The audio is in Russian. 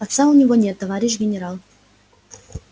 отца у него нет товарищ генерал